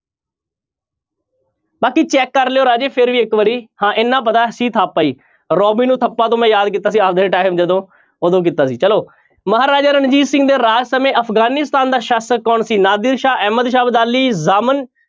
ਬਾਕੀ check ਕਰ ਲਇਓ ਰਾਜੇ ਫਿਰ ਵੀ ਇੱਕ ਵਾਰੀ ਹਾਂਂ ਇੰਨਾ ਪਤਾ ਹੈ ਸੀ ਥਾਪਾ ਹੀ, ਰੋਬਿਨ ਨੂੰ ਥੱਪਾ ਤੋਂ ਮੈਂ ਯਾਦ ਕੀਤਾ ਸੀ ਆਪਦੇ time ਜਦੋਂ ਉਦੋਂ ਕੀਤਾ ਸੀ ਚਲੋ ਮਹਾਰਾਜਾ ਰਣਜੀਤ ਸਿੰਘ ਦੇ ਰਾਜ ਸਮੇਂ ਅਫ਼ਗਾਨਿਸਤਾਨ ਦਾ ਸ਼ਾਸ਼ਕ ਕੌਣ ਸੀ ਨਾਦਰ ਸ਼ਾਹ, ਅਹਿਮਦ ਸ਼ਾਹ ਅਬਦਾਲੀ, ਜਾਮਨ